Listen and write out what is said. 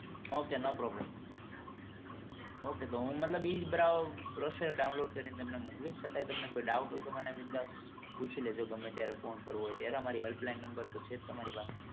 Okay no problem ok તો હું મતલબ એ download કરી ને મોક્લીસ છતા તમને કોઈ doubt હોય તો મને બિનદાસ પુછી લેજો ગમે ત્યારે ફોન કરવો હોય ત્યારે અમારી હેલ્પ લાઇન છે જ તમારી પાસે